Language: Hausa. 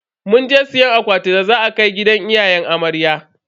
Munje siyan akwatin da za a kai gidan iyayen amarya.